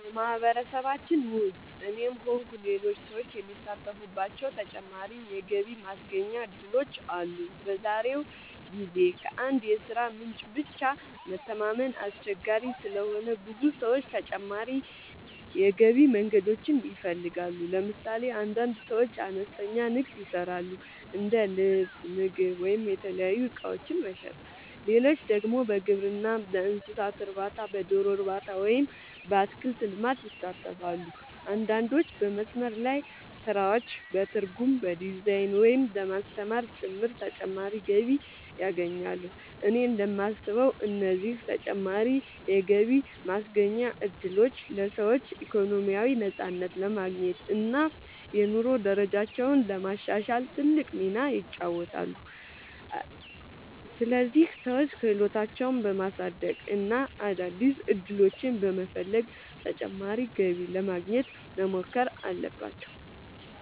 በማህበረሰባችን ውስጥ እኔም ሆንኩ ሌሎች ሰዎች የሚሳተፉባቸው ተጨማሪ የገቢ ማስገኛ እድሎች አሉ። በዛሬው ጊዜ ከአንድ የሥራ ምንጭ ብቻ መተማመን አስቸጋሪ ስለሆነ ብዙ ሰዎች ተጨማሪ የገቢ መንገዶችን ይፈልጋሉ። ለምሳሌ አንዳንድ ሰዎች አነስተኛ ንግድ ይሰራሉ፤ እንደ ልብስ፣ ምግብ ወይም የተለያዩ እቃዎች መሸጥ። ሌሎች ደግሞ በግብርና፣ በእንስሳት እርባታ፣ በዶሮ እርባታ ወይም በአትክልት ልማት ይሳተፋሉ። አንዳንዶች በመስመር ላይ ስራዎች፣ በትርጉም፣ በዲዛይን፣ ወይም በማስተማር ጭምር ተጨማሪ ገቢ ያገኛሉ። እኔ እንደማስበው እነዚህ ተጨማሪ የገቢ ማስገኛ እድሎች ለሰዎች ኢኮኖሚያዊ ነፃነት ለማግኘት እና የኑሮ ደረጃቸውን ለማሻሻል ትልቅ ሚና ይጫወታሉ። ስለዚህ ሰዎች ክህሎታቸውን በማሳደግ እና አዳዲስ ዕድሎችን በመፈለግ ተጨማሪ ገቢ ለማግኘት መሞከር አለባቸው።